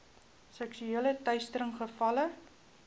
seksuele teistering gevalle